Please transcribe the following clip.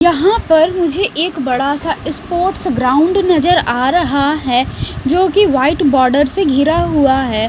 यहाँ पर मुझे एक बड़ा सा स्पोर्ट्स ग्राउंड नजर आ रहा है जो कि वाइट बॉर्डर से घिरा हुआ है।